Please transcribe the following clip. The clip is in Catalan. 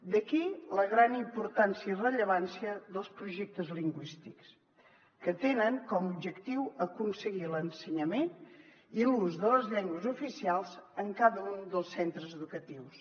d’aquí la gran importància i rellevància dels projectes lingüístics que tenen com a objectiu aconseguir l’ensenyament i l’ús de les llengües oficials en cada un dels centres educatius